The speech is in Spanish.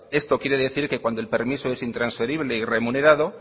esto quiere decir que cuando el permiso es intransferible y remunerado